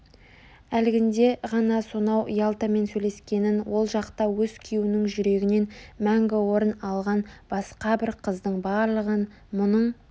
Әлгінде ғана сонау ялтамен сөйлескенін ол жақта өз күйеуінің жүрегінен мәңгі орын алған басқа бір қыздың барлығын мұның